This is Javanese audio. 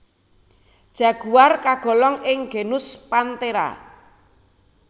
Jaguar kagolong ing genus Panthera